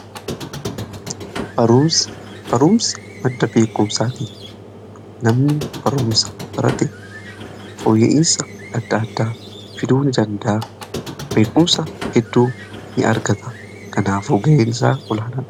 Barumsi madda beekumsaati. Namni barumsa barate, fooyya'iisa adda addaa fiduu ni danda'a. Beekumsa heddu ni argata. Kanaafu gaheen isaa olaanaadha.